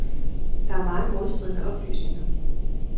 Der er mange modstridende oplysninger.